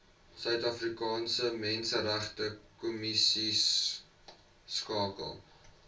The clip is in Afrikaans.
suidafrikaanse menseregte kommissieskakel